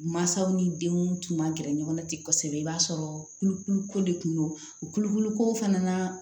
Mansaw ni denw tun man gɛrɛ ɲɔgɔn na ten kosɛbɛ i b'a sɔrɔ kulukulu ko de kun don u kulokulu ko fana na